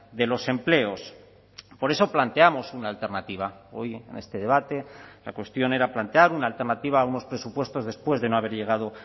de los empleos por eso planteamos una alternativa hoy en este debate la cuestión era plantear una alternativa a unos presupuestos después de no haber llegado